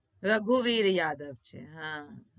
રગુવીર યાદવ છે હા